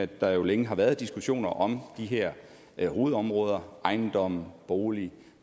der jo længe har været diskussioner om de her hovedområder ejendom bolig